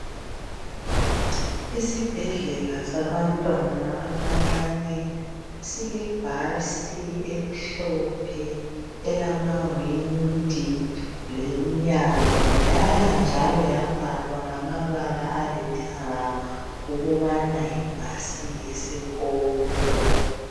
Isibhedlela sabantwana abancane silebhasi emhlophe elamawindi lomnyango yayanjalo yabhalwa ngamabala alithanga ukubana yibhasi yesikolo.